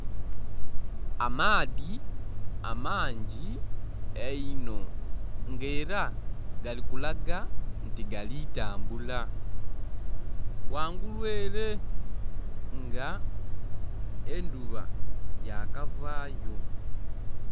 Amaadhi amangi einho nga era gali kulaga nti galitambula ghangulu ere nga endhuba yakavayo.